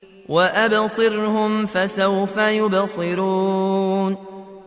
وَأَبْصِرْهُمْ فَسَوْفَ يُبْصِرُونَ